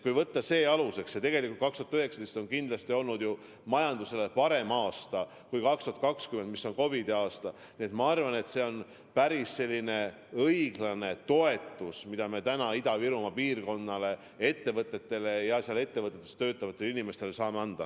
Kui võtta aluseks see fakt ja ka see, et tegelikult 2019 on kindlasti olnud majandusele parem aasta kui 2020, mis on COVID-i aasta, siis ma arvan, et see on päris õiglane toetus, mida me täna Ida-Virumaa piirkonnale, sealsetele ettevõtetele ja nendes ettevõtetes töötavatele inimestele saame anda.